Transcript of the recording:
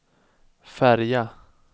färja